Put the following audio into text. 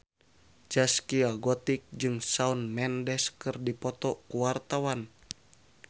Zaskia Gotik jeung Shawn Mendes keur dipoto ku wartawan